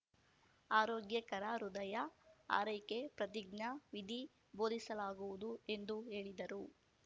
ಆರೋಗ್ಯಕರ ಹೃದಯ ಆರೈಕೆ ಪ್ರತಿಜ್ಞಾ ವಿಧಿ ಬೋಧಿಸಲಾಗುವುದು ಎಂದು ಹೇಳಿದರು